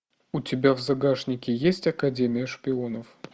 у тебя в загашнике есть академия шпионов